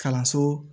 Kalanso